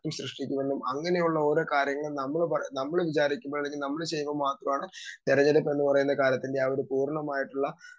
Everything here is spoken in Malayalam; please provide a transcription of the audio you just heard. സ്പീക്കർ 2 ഞാനെന്തു മാറ്റം സൃഷ്ടിക്കുമെന്നും അങ്ങനെയുള്ള ഓരോ കാര്യങ്ങളും നമ്മള് വിചാരിക്കുമ്പോ അല്ലെങ്കി നമ്മള് ചെയ്യുമ്പോ മാത്രമാണ് തെരഞ്ഞെടുപ്പെന്ന് പറയുന്ന കാര്യത്തിൽ ഞാൻ പൂർണ്ണമായിട്ടുള്ള